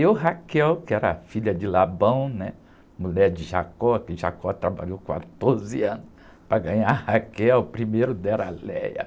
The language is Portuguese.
E o Raquel, que era filha de Labão, né? Mulher de Jacó, que Jacó trabalhou quatorze anos para ganhar a Raquel, primeiro deram a Léa.